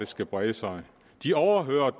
skal brede sig de overhører